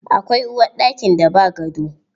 Akwai uwarɗakin da ba gado.